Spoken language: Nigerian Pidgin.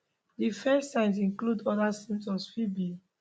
di first signs include oda symptoms fit be